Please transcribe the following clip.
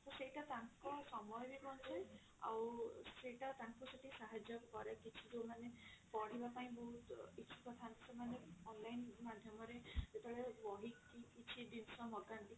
ତ ସେଇଟା ତାଙ୍କ ସମୟ ବି ବଞ୍ଚାଏ ଆଉ ସେଟା ତାଙ୍କୁ ସେତିକି ସାହାର୍ଯ୍ୟ କରେ କିଛି ଯାଉମାନେ ପଢିବା ପାଇଁ ବହୁତ ଇଚ୍ଛୁକ ଥାନ୍ତି ସେମାନେ online ମାଧ୍ୟମ ରେ ଯେତେବେଳେ ବହି କିଛି ଜିନିଷ ମଗାନ୍ତି